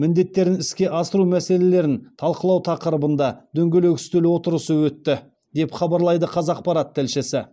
міндеттерін іске асыру мәселелерін талқылау тақырыбында дөңгелек үстел отырысы өтті деп хабарлайды қазақпарат тілшісі